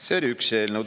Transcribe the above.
See on üks eelnõu.